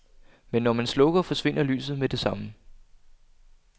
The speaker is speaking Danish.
Men når man slukker, forsvinder lyset med det samme.